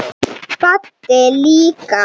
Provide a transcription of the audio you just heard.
Baddi líka.